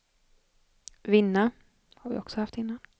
vinna